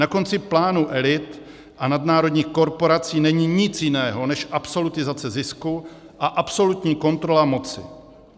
Na konci plánu elit a nadnárodních korporací není nic jiného než absolutizace zisku a absolutní kontrola moci.